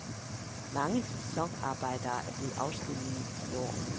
Mange sæsonarbejdere er blevet afskediget i år.